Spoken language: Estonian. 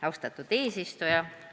Austatud eesistuja!